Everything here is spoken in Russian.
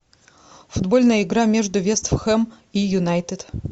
футбольная игра между вест хэм и юнайтед